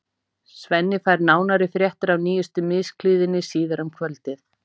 Svenni fær nánari fréttir af nýjustu misklíðinni síðar um kvöldið.